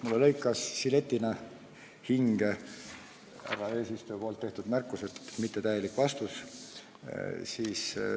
Mulle lõikas žiletina hinge härra eesistuja tehtud märkus, et ma andsin mittetäieliku vastuse.